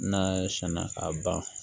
N'a sɛnna k'a ban